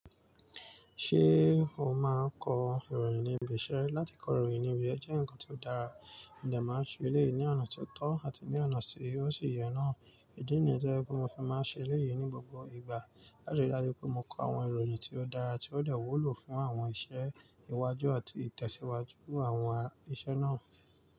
Ṣé o máa kọ ìròyìn ní ibi iṣe? Látì kọ ìròyìn níbí jẹ́ nkan tí ó dára, ǹjẹ̀ máa ṣe èléyí ní ọ̀nà tí tọ̀ àti ní ọ̀nà tí ó ṣì yẹ náà. Idí nìyẹ́n to je pé mó fi máa ṣe èléyí ní gbogbo ìgbà. Láti dájú pé mó kọ awọn ìròyìn tí ó dára tí ó dẹ wúlò fún awọn ìṣẹ́ ìwàjú àti ìtẹ̀síwájú àwọn ìṣẹ́ náà.